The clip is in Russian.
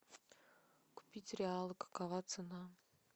купить реалы какова цена